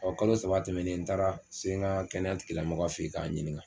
kalo saba tɛmɛnen n taara se ŋaa kɛnɛya tigilamɔgɔ fe k'a ɲiniŋa